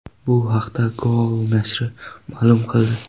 Bu haqda Goal nashri ma’lum qildi .